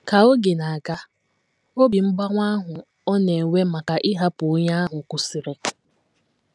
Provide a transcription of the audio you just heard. Ka oge na - aga, obi mgbawa ahụ ọ na - enwe maka ịhapụ onye ahụ kwụsịrị.